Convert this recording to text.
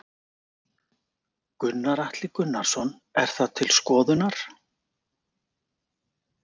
Gunnar Atli Gunnarsson: Er það til skoðunar?